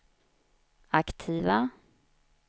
aktiva